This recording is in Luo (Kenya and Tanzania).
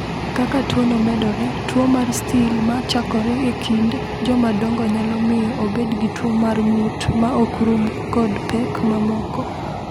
"Kaka tuono medore, tuo mar Still ma chakore e kind jomadongo nyalo miyo obed gi tuo mar ng’ut ma ok rum kod pek mamoko."